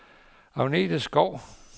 Agnete Skou